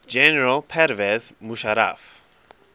general pervez musharraf